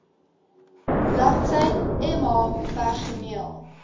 bladsy mh personeel